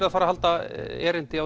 að fara að halda erindi